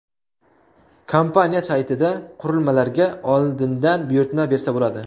Kompaniya saytida qurilmalarga oldindan buyurtma bersa bo‘ladi.